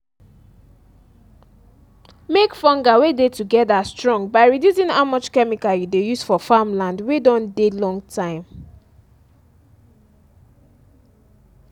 make fungal wey dey together strong by reducing how much chemical you dey use for farm land wey don dey long time